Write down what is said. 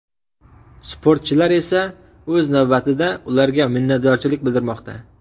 Sportchilar esa, o‘z navbatida, ularga minnatdorchilik bildirmoqda.